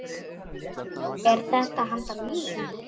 Er þetta handa mér?!